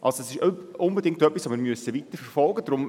Das EVoting ist somit etwas, das wir weiterverfolgen müssen.